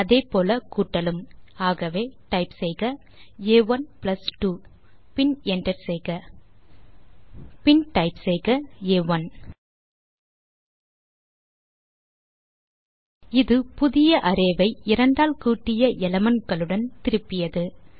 அதே போல கூட்டலும் ஆகவே டைப் செய்க ஆ1 பிளஸ் 2 பின் என்டர் செய்க மற்றும் பின் டைப் செய்க ஆ1 இது புதிய அரே ஐ இரண்டால் கூட்டிய எலிமெண்ட் களுடன் திருப்பியது